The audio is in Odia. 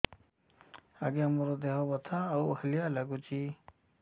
ଆଜ୍ଞା ମୋର ଦେହ ବଥା ଆଉ ହାଲିଆ ଲାଗୁଚି